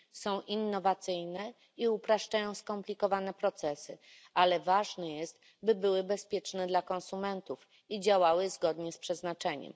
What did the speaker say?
Są innowacyjne i upraszczają skomplikowane procesy, ale ważne jest, by były bezpieczne dla konsumentów i działały zgodnie z przeznaczeniem.